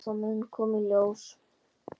Já, það mun koma í ljós.